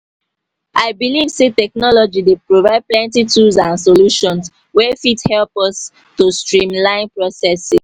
i believe say technology dey provide plenty tools and solutions wey fit elp us to streamline processes.